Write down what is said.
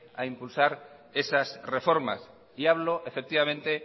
a impulsar esas reformas y hablo efectivamente